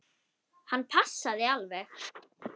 Hann passaði alveg.